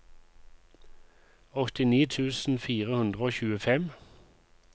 åttini tusen fire hundre og tjuefem